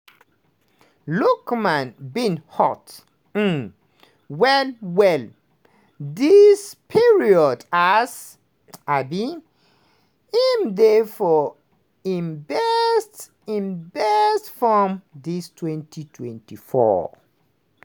lookman bin hot um well-well dis period as um im dey for im best im best form dis 2024.